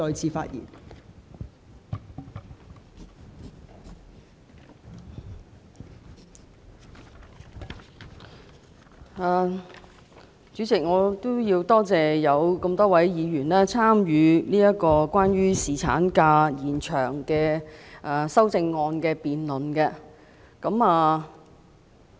代理主席，我感謝多位議員參與有關延長侍產假的修正案的辯論。